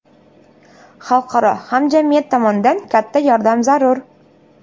Xalqaro hamjamiyat tomonidan katta yordam zarur.